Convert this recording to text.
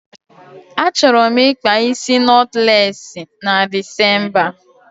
Achọrọ m ịkpa isi nọtlesị na Decemba